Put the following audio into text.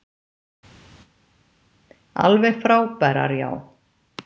Alveg frábærar, já.